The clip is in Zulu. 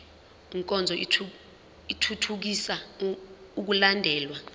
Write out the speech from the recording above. nkonzo ithuthukisa ukulandelwa